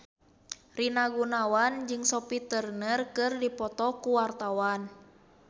Rina Gunawan jeung Sophie Turner keur dipoto ku wartawan